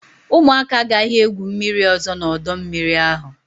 ụmụaka agaghị egwu mmiri ọzọ n'ọdọ mmiri ahụ!